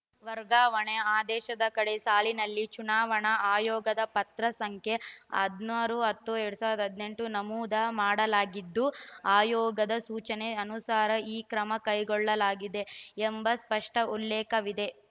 ವರ್ಗಾವಣೆ ಆದೇಶದ ಕಡೇ ಸಾಲಿನಲ್ಲಿ ಚುನಾವಣಾ ಆಯೋಗದ ಪತ್ರ ಸಂಖ್ಯೆ ಹದಿನಾರು ಹತ್ತು ಎರಡ್ ಸಾವಿರದ ಹದಿನೆಂಟು ನಮೂದು ಮಾಡಲಾಗಿದ್ದು ಆಯೋಗದ ಸೂಚನೆ ಅನುಸಾರ ಈ ಕ್ರಮ ಕೈಗೊಳ್ಳಲಾಗಿದೆ ಎಂಬ ಸ್ಪಷ್ಟಉಲ್ಲೇಖವಿದೆ